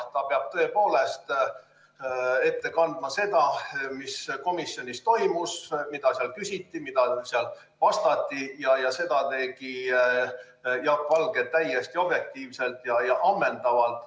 Ta peab tõepoolest ette kandma seda, mis komisjonis toimus, mida seal küsiti ja mida seal vastati, ning seda tegi Jaak Valge täiesti objektiivselt ja ammendavalt.